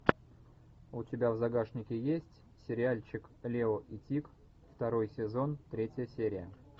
у тебя в загашнике есть сериальчик лео и тиг второй сезон третья серия